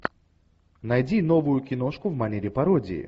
найди новую киношку в манере пародии